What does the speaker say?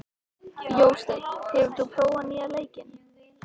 Jósteinn, hefur þú prófað nýja leikinn?